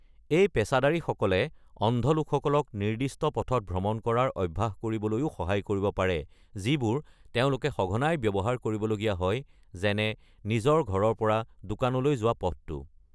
এই পেচাদাৰীসকলে অন্ধ লোকসকলক নিৰ্দিষ্ট পথত ভ্ৰমণ কৰাৰ অভ্যাস কৰিবলৈও সহায় কৰিব পাৰে যিবোৰ তেওঁলোকে সঘনাই ব্যৱহাৰ কৰিব লগীয়া হয়, যেনে নিজৰ ঘৰৰ পৰা দোকানলৈ যোৱা পথটো।